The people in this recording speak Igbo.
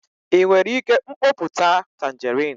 ị nwere ike mkpoputa tanjerịn?